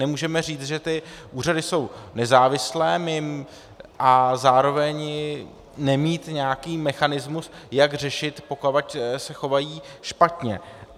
Nemůžeme říct, že ty úřady jsou nezávislé, a zároveň nemít nějaký mechanismus, jak řešit, pokud se chovají špatně.